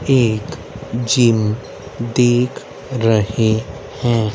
एक जिम दिख रहें हैं।